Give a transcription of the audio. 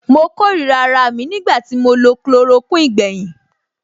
Mo kórìíra araà mi nígbà tí mo lo chloroquine gbẹ̀yìn.